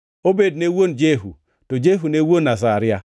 Obed ne wuon Jehu, to Jehu ne wuon Azaria,